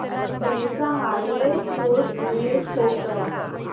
del चा hardware support email show कर